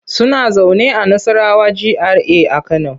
Suna zaune a Nassarawa GRA a Kano.